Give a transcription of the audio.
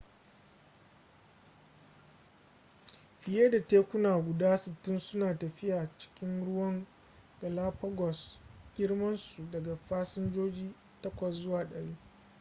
fiye da tekuna guda 60 suna tafiya cikin ruwan galapagos girman su daga fasinjoji 8 zuwa 100